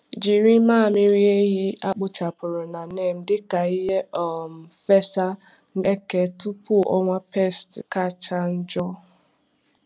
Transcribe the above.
Jiri mmamịrị ehi a kpochapụrụ na neem dị ka ihe um fesa eke tupu ọnwa pests kacha njọ.